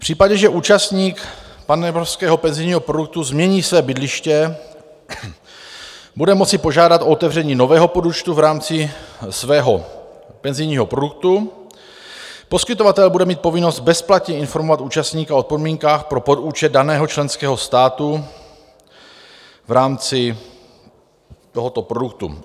V případě, že účastník panevropského penzijního produktu změní své bydliště, bude moci požádat o otevření nového podúčtu v rámci svého penzijního produktu, poskytovatel bude mít povinnost bezplatně informovat účastníka o podmínkách pro podúčet daného členského státu v rámci tohoto produktu.